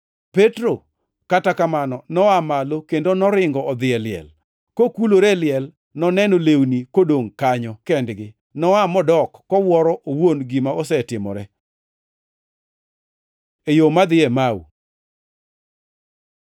Petro, kata kamano, noa malo kendo noringo odhi e liel. Kokulore e liel, noneno lewni kodongʼ kanyo kendgi, noa modok, kowuoro owuon gima osetimore. E yo ma dhi Emau